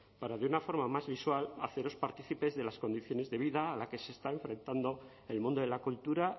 para de una forma más visual haceros partícipes de las condiciones de vida a la que se está enfrentando el mundo de la cultura